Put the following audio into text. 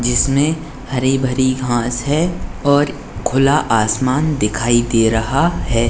जिसमे हरी-बरी घास है और खुला आसमान दिखाई दे रहा है।